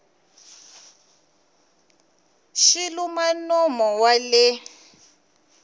xi luma nomo wa le